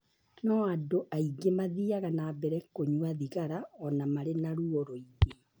No andũ aingĩ mathiaga na mbere kũnyua thigara o na marĩ na ruo rũingĩ.